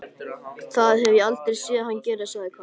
Það hef ég aldrei séð hann gera sagði Karl.